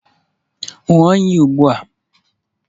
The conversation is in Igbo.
Ṅụọ iyi ugbu a!